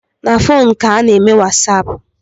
Na fonu ka a na-eme wasapu